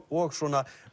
og svona